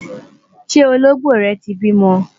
ṣé Olongbo rè tí bímọ?